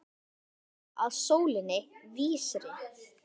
Ganga þá að sólinni vísri.